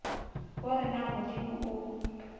o re na modimo o